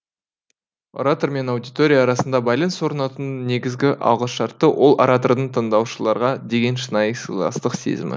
оратор мен аудитория арасында байланыс орнатудың негізгі алғышарты ол оратордың тыңдаушыларға деген шынайы сыйластық сезімі